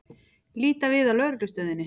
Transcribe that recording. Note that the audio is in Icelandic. Líta við á Lögreglustöðinni.